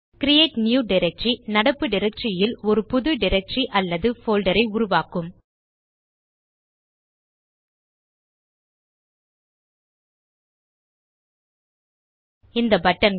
create new directory நடப்பு directory ல் ஒரு புது டைரக்டரி அல்லது போல்டர் ஐ உருவாக்கும் இந்த buttonகள்